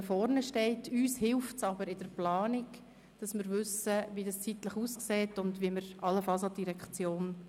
Es früher zu sagen, hilft uns aber in der Zeitplanung und allenfalls beim Wechsel der Direktion.